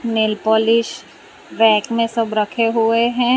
Nail polish rack में सब रखे हुए हैं।